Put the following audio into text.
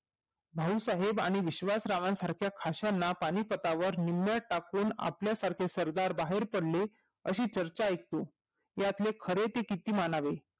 भाऊ साहेब आणि विश्वास राव सारख्याना फाश्याना पानिपतवर निम्या टाकून आपले सारखे सरदार बाहेर पडले अशी चर्चा ऐकू